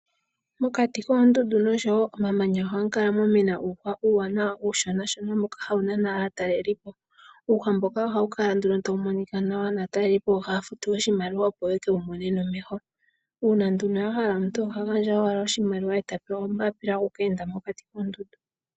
Mokati koondundu noshowo omamanya ohamu kala mwa mena uuhwa uushonashona wa mena nawa, hawu nana aataleli po uuhwa mboka ohawukala nduno tawu monika nawa, naatalelipo ohaya futu iimaliwa opo yekewu mone nomeho. Uuna omuntu a hala oha pewa ombapila opo eke wu mone mokati koondundu.